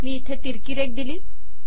मी इथे तिरकी रेघ दिली